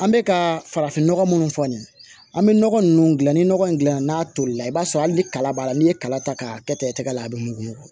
An bɛ ka farafinnɔgɔ minnu fɔ nin ye an bɛ nɔgɔ ninnu dilan ni nɔgɔ in dilan n'a tolila i b'a sɔrɔ hali ni kala b'a la n'i ye kala ta k'a kɛ i tɛgɛ la a bɛ mugu